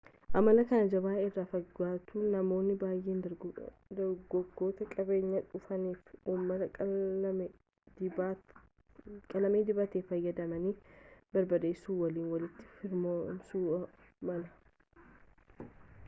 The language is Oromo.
amala kan jabanaa irraa fagaatullee namoonni baay'een dargaggootni qabeenya dhuunfaafi uummataa qalama dibataa fayyadamanii barbadeessuu waliin walitti firoomsuu malu